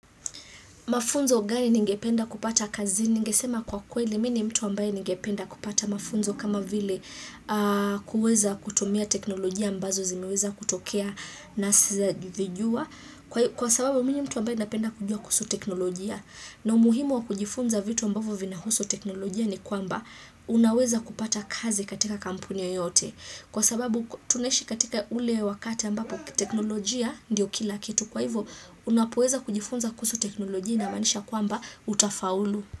Mafunzo gani ningependa kupata kazini? Ngesema kwa kweli mimi mtu ambaye ningependa kupata mafunzo kama vile kuweza kutumia teknolojia ambazo zimiweza kutokea na sitwaazijua. Kwasababu mimi ni mtu ambaye napenda kujua kuhusu teknolojia na umuhumimu wa kujifunza vitu ambavyo vinahusu technologia ni kwamba unaweza kupata kazi katika kampuni yoyote Kwasababu tunaishi katika ule wakati ambapo technologia ndio kila kitu kwahivyo unapoweza kujifunza kuhusu teknolojia inamaanisha kwamba utafaulu.